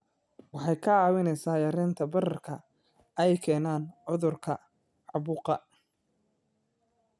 Waxay kaa caawinaysaa yaraynta bararka ay keenaan cudurrada caabuqa.